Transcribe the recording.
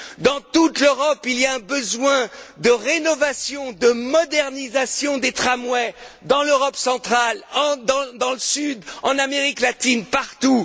Dans toute l'Europe, il y a un besoin de rénovation, de modernisation des tramways, en Europe centrale, dans le sud, en Amérique latine, partout.